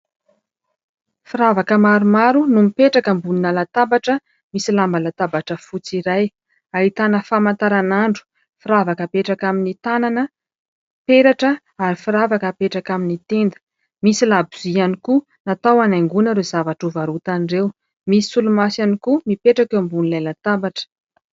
Firavaka maromaro no mipetraka ambony latabatra misy lamba latabatra fotsy iray. Ahitana famataranandro, firavaka hapetraka amin'ny tànana, peratra ary firavaka hapetraka amin'ny tenda. Misy labozy ihany koa natao anaingoina ireo zavatra ho varotana ireo. Misy solomaso ihany koa mipetraka eo. Ambonin'ilay latabatra.